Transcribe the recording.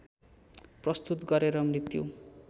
प्रस्तुत गरेर मृत्यु